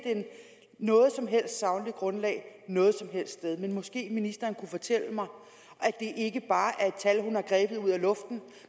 noget som helst sagligt grundlag noget som helst sted men måske ministeren kunne fortælle mig at det ikke bare er et tal hun har grebet ud af luften